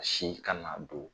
A si kana do